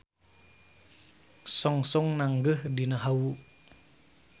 Songsong nanggeuh dina hawu.